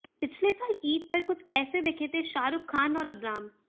पिछले साल ईद पर कुछ ऐसे दिखे थे शाहरुख खान और अबराम